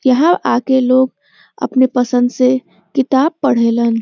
यहाँ आके लोग अपने पसंद से किताब पढ़ेलन।